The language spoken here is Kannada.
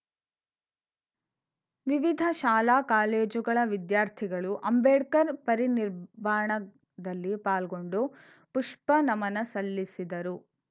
ವಿವಿಧ ಶಾಲಾ ಕಾಲೇಜುಗಳ ವಿದ್ಯಾರ್ಥಿಗಳು ಅಂಬೇಡ್ಕರ್‌ ಪರಿನಿಬ್ಬಾಣದಲ್ಲಿ ಪಾಲ್ಗೊಂಡು ಪುಷ್ಪನಮನ ಸಲ್ಲಿಸಿದರು